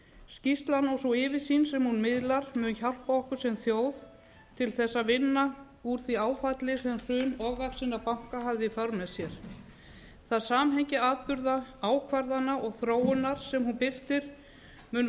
skýrslan og sú yfirsýn sem hún miðlar mun hjálpa okkur sem þjóð til að vinna úr því áfalli sem hrun ofvaxinna banka hafði í för með sér það samhengi atburða ákvarðana og þróunar sem hún birtir mun